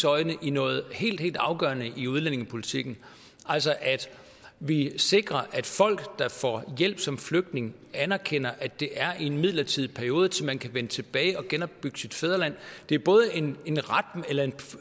øjne i noget helt helt afgørende i udlændingepolitikken altså at vi sikrer at folk der får hjælp som flygtning anerkender at det er en midlertidig periode til man kan vende tilbage og genopbygge sit fædreland det er både en